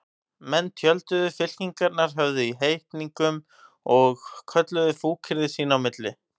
Menn tjölduðu, fylkingarnar höfðu í heitingum og kölluðu fúkyrði sín á milli.